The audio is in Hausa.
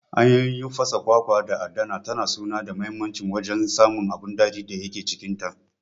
Hanyoyin fasa kwakwa da adana ta suna da muhimmancin wajen samun abin daɗin da yake cikinta.